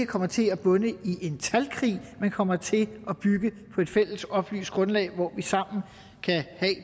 kommer til at bunde i en talkrig men kommer til at bygge på et fælles oplyst grundlag hvorpå vi sammen kan have